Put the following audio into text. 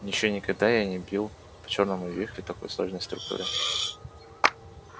ещё никогда я не бил по чёрному вихрю такой сложной структуры